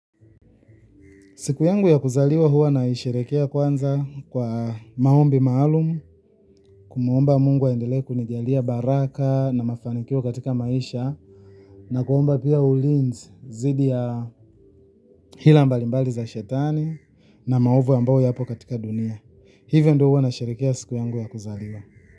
Siku yangu ya kuzaliwa huwa naisherehekea kwanza kwa maombi maalum, kumuomba Mungu aendelee kunijalia baraka na mafanikio katika maisha na kuomba pia ulinzi dhidi ya hila mbalimbali za shetani na maovu ambao yapo katika dunia. Hivyo ndio huwa nasherehekea siku yangu ya kuzaliwa.